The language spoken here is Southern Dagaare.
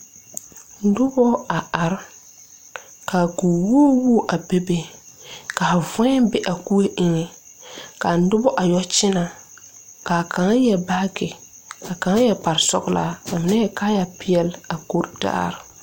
Nobɔ a are kaa ko woo woo a bebe ka voɛ be a koe eŋɛ kaa nobɔ a yɛ kyinɛ kaa kaŋavyɛre baagyi kaa kaŋa yɛre kparsɔglaa ka mine yɛre kaayɛ peɛle a koritaare.